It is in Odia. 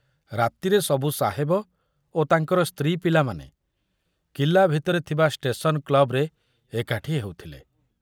ରାତିରେ ସବୁ ସାହେବ ଓ ତାଙ୍କର ସ୍ତ୍ରୀ ପିଲାମାନେ କିଲ୍ଲା ଭିତରେ ଥିବା ଷ୍ଟେସନ କ୍ଲବରେ ଏକାଠି ହେଉଥିଲେ।